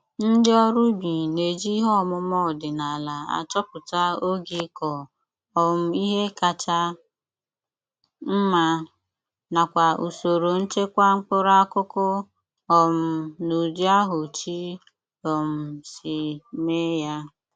Ndị ọrụ ubi.na-eji ihe ọmụma ọdịnala achọpụta oge ịkọ um ihe kacha mma, nakwa usoro nchekwa mkpụrụ akụkụ um n'ụdị ahụ Chi um si.meeya.